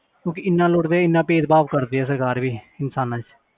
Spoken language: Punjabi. ਕਿਉਂਕਿ ਇੰਨਾ ਲੁੱਟਦੇ ਇੰਨਾ ਭੇਦਭਾਵ ਕਰਦੇ ਆ ਸਰਕਾਰ ਵੀ ਇਨਸਾਨਾਂ 'ਚ